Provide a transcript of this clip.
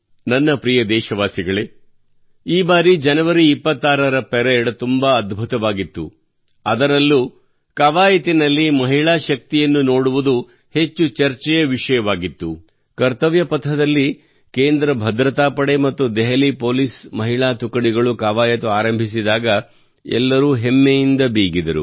ನನ್ನ ಪ್ರಿಯ ದೇಶವಾಸಿಗಳೇ ಈ ಬಾರಿ ಜನವರಿ 26 ರ ಪರೇಡ್ ತುಂಬಾ ಅದ್ಭುತವಾಗಿತ್ತು ಆದರೆ ಕವಾಯತಿನಲ್ಲಿ ಮಹಿಳಾ ಶಕ್ತಿಯನ್ನು ನೋಡುವುದು ಹೆಚ್ಚು ಚರ್ಚೆಯ ವಿಷಯವಾಗಿತ್ತು ಕರ್ತವ್ಯ ಪಥದಲ್ಲಿ ಕೇಂದ್ರ ಭದ್ರತಾ ಪಡೆ ಮತ್ತು ದೆಹಲಿ ಪೊಲೀಸ್ ಮಹಿಳಾ ತುಕಡಿಗಳು ಕವಾಯತು ಆರಂಭಿಸಿದಾಗ ಎಲ್ಲರೂ ಹೆಮ್ಮೆಯಿಂದ ಬೀಗಿದರು